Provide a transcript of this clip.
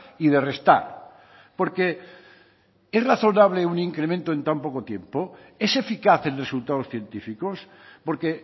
y de restar porque es razonable un incremento en tan poco tiempo es eficaz en resultados científicos porque